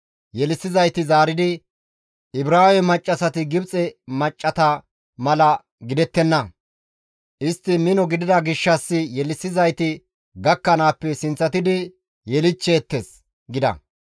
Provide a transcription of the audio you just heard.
Yelissizayti zaaridi, «Ibraawe maccassati Gibxe maccassata mala gidettenna; istti mino gidida gishshas yelissizayti gakkanaappe sinththatidi yelichcheettes» gida.